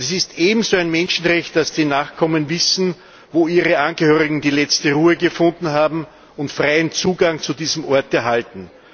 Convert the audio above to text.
Es ist ebenso ein Menschenrecht, dass die Nachkommen wissen, wo ihre Angehörigen die letzte Ruhe gefunden haben, und freien Zugang zu diesem Ort erhalten.